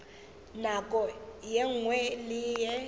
nako ye nngwe le ye